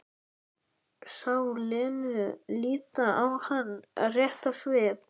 Sá Lenu líta á hana rétt í svip.